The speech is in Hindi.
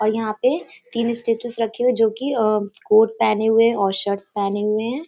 और यहाँ पे तीन स्टेचूस रखें हुए हैं जोकि अ कोर्ट पहने हुए और शर्टस् पहने हुए हैं।